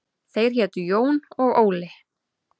Þeir hétu Jón og Óli.